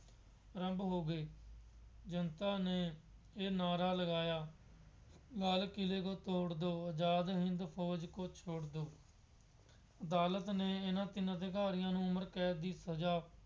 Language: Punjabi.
ਆਰੰਭ ਹੋ ਗਏ। ਜਨਤਾ ਨੇ ਇਹ ਨਾਅਰਾ ਲਗਾਇਆ। ਲਾਲ ਕਿਲੇ ਤੋਂ ਤੋੜ ਦਿਉ। ਆਜ਼ਾਦ ਹਿੰਦ ਫੋਜ ਕੋ ਛੋੜ ਦਿਉ। ਅਦਾਲਤ ਨੇ ਇਹਨਾ ਤਿੰਨ ਅਧਿਕਾਰੀਆਂ ਨੂੰ ਉਮਰ ਕੈਦ ਦੀ ਸਜ਼ਾ